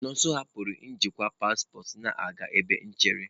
Nonso hapụrụ njikwa paspọtụ na-aga ebe nchere.